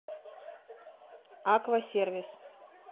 аквасервис